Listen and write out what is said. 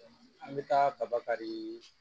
an bɛ taa kaba kari